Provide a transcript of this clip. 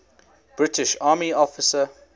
british army officer